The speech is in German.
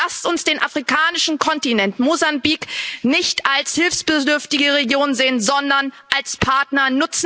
Lasst uns den afrikanischen Kontinent, Mosambik, nicht als hilfsbedürftige Region sehen, sondern als Partner.